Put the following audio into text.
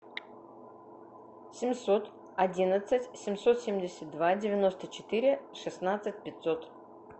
семьсот одиннадцать семьсот семьдесят два девяносто четыре шестнадцать пятьсот